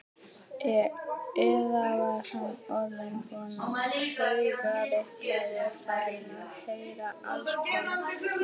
Eða var hann orðinn svona taugaveiklaður, farinn að heyra allskonar hljóð?